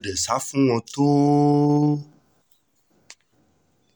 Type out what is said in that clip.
dé sá fún wọn tó o